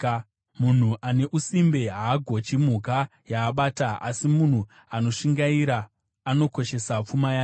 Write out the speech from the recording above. Munhu ane usimbe haagochi mhuka yaabata, asi munhu anoshingaira anokoshesa pfuma yake.